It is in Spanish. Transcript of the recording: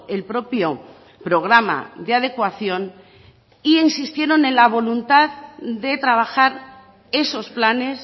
el propio programa de adecuación e insistieron en la voluntad de trabajar esos planes